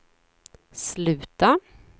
sluta